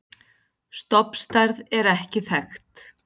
Stofnstærð er ekki þekkt.